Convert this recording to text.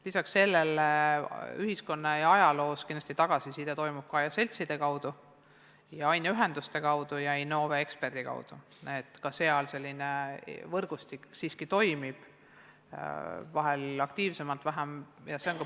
Lisaks sellele tuleb ühiskonnaõpetuse ja ajaloo kohta tagasisidet ka seltside ja aineühenduste kaudu, samuti Innove eksperdi kaudu, nii et selline võrgustik siiski toimib, vahel aktiivsemalt, vahel vähem.